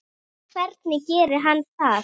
Hvernig gerir hann það?